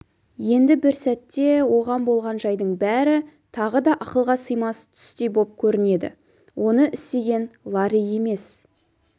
енді бір сәтте оған болған жайдың бәрі тағы да ақылға сыймас түстей боп көрінеді оны істеген ларри емес